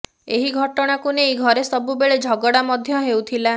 ଏହି ଘଟଣାକୁ ନେଇ ଘରେ ସବୁବେଳେ ଝଗଡ଼ା ମଧ୍ୟ ହେଉଥିଲା